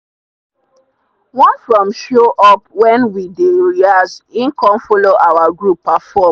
one from show up when we dey rehearse him come follow our group perform.